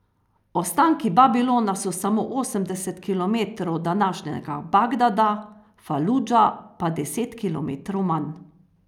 Ostanki Babilona so samo osemdeset kilometrov od današnjega Bagdada, Faludža pa deset kilometrov manj.